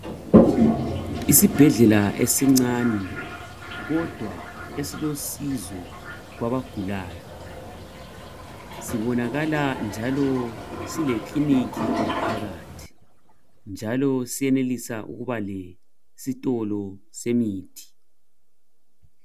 Isibhedlela esincane kodwa esilosizo kwabagulayo. Sibonakala njalo silekiliniki ngaphakathi njalo siyenelisa ukuba lesitolo semithi.